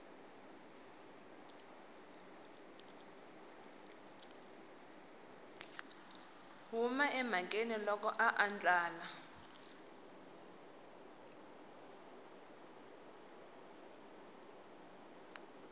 huma emhakeni loko a andlala